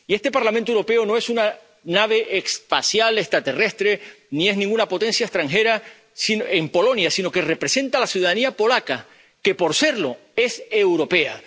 Y este Parlamento Europeo no es una nave espacial extraterrestre, ni es ninguna potencia extranjera en Polonia, sino que representa a la ciudadanía polaca, que, por serlo, es europea.